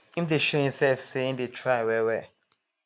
im dey show himself say im dey try well well